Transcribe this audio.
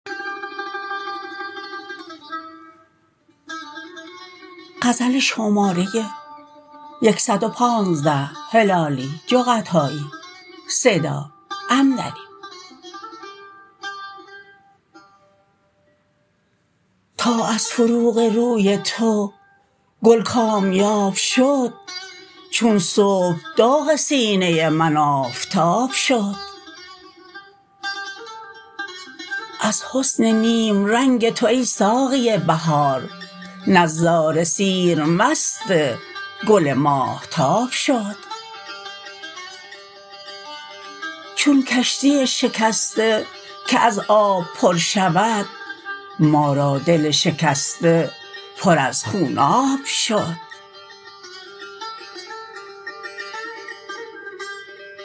تا از فروغ روی تو گل کامیاب شد چون صبح داغ سینه من آفتاب شد از حسن نیم رنگ تو ای ساقی بهار نظاره سیر مست گل ماهتاب شد چون کشتی شکسته که از آب پر شود ما را دل شکسته پر از خون ناب شد